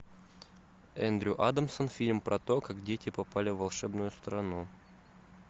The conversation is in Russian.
эндрю адамсон фильм про то как дети попали в волшебную страну